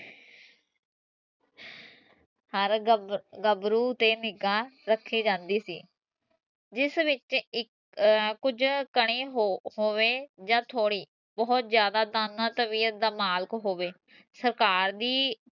ਹਰ ਗਬ ਗਬਰੂ ਤੇ ਨਿਗਾਹ ਰਖੀ ਜਾਂਦੀ ਸੀ ਜਿਸ ਵਿੱਚ ਇਕ ਅਹ ਕੁਛ ਘਣੇ ਹੋ ਹੋਵੇ ਜਾ ਥੋੜੇ ਬਹੁਤ ਜ਼ਿਆਦਾ ਤਬੀਅਤ ਦਾ ਮਾਲਕ ਹੋਵੇ ਸਰਕਾਰ ਦੀ